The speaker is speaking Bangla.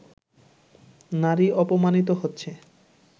নারী অপমানিত হচ্ছে